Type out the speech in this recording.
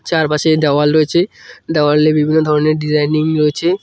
চারপাশে দেওয়াল রয়েছে দেওয়ালে বিভিন্ন ধরনের ডিজাইনিং রয়েছে।